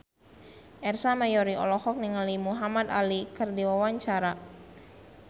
Ersa Mayori olohok ningali Muhamad Ali keur diwawancara